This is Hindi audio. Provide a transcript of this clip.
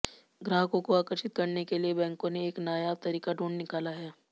ग्राहकों को आकर्षित करने के लिए बैंकों ने एक नायाब तरीका ढूंढ निकाला है